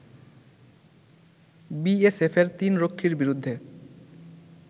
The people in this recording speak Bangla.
বিএসএফের তিন রক্ষীর বিরুদ্ধে